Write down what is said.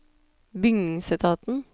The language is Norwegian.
bygningsetaten